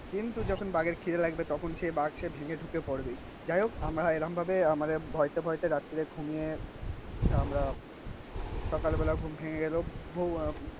কিন্তু যখন বাঘের খিদে লাগে তখন সেই বাঘ সে ভেঙে ঢুকে পড়বে. যাই হোক আমরা এরম ভাবে আমাদের ভয়েতে ভয়েতে রাত্রে ঘুমিয়ে আমরা সকালবেলা ঘুম ভেঙে গেলো.